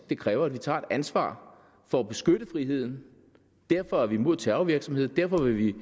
det kræver at vi tager et ansvar for at beskytte friheden derfor er vi imod terrorvirksomhed derfor vil vi